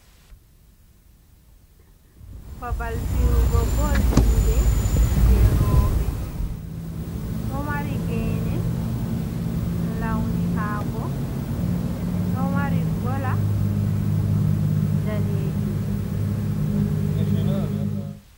Babal fi’ugo bol juɗe je rooɓe, ɗo mari ge ne launihako, ɗo mari gola danejum.